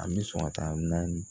An bɛ sɔn ka taa naani